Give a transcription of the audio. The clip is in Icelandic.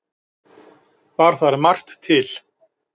Bar þar margt til.